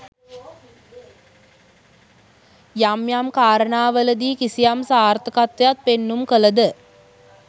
යම් යම් කාරණාවලදී කිසියම් සාර්ථකත්වයක් පෙන්නුම් කලද